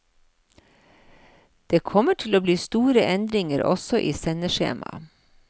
Det kommer til å bli store endringer, også i sendeskjema.